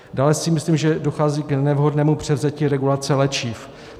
Dále si myslím, že dochází k nevhodnému převzetí regulace léčiv.